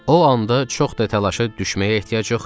O anda çox da təlaşa düşməyə ehtiyac yox idi.